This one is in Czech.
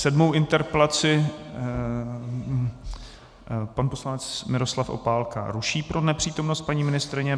Sedmou interpelaci pan poslanec Miroslav Opálka ruší pro nepřítomnost paní ministryně.